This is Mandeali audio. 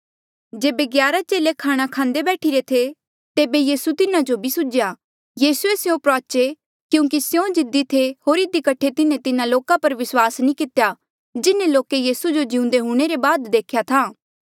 जेबे ग्यारा चेले खाणा खांदे बैठीरे थे तेबे यीसू तिन्हा जो भी सुझ्या यीसूए स्यों प्रुआचे क्यूंकि स्यों जिद्दी थे होर इधी कठे तिन्हें तिन्हा लोका पर विस्वास नी कितेया जिन्हें लोके यीसू जो जिउंदे हूंणे ले बाद देख्या था